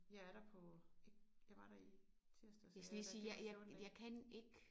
Jeg er der på ikke jeg var der i tirsdags og jeg er der hver 14 dag